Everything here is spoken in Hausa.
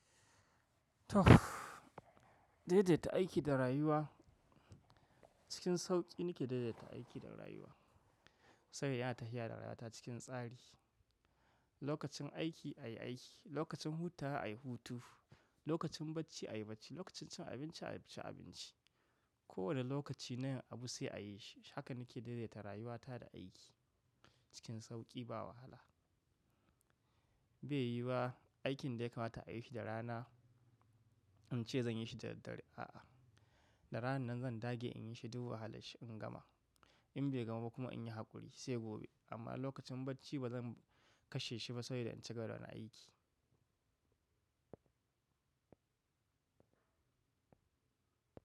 Tuff! Daidaita aiki da rayuwa, cikin sauƙi nake daidaita aiki da rayuwa. Saboda yana tafiya da rata cikin tsari. Lokacin aiki, ayi aiki. Lokacin hutawa, a yi hutu. Lokacin bacci, a yi bacci. Lokacin cin abinci, a ci abinci. Ko wane lokaci na yin abu sai ayi shi. Haka nake daidaita rayuwata da aiki cikin sauƙi ba wahala. Bai yiwuwa aikin da ya kamata a yi shi da rana, in ce zan yi shi da daddare. A'a, da rana nan zan dage in yi shi duk wahala shi in gama. In bai gama ba kuma in yi haƙuri sai gobe. Amma lokacin bacci ba zan kashe shi ba saboda in ci gaba da wani aiki.